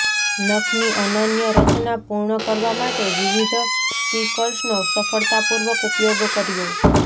નખની અનન્ય રચના પૂર્ણ કરવા માટે વિવિધ સ્ટીકર્સનો સફળતાપૂર્વક ઉપયોગ કર્યો